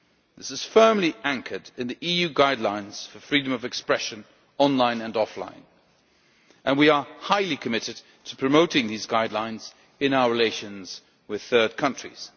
This is firmly anchored in the EU guidelines for freedom of expression online and offline, and we are highly committed to promoting these guidelines in our relations with third countries.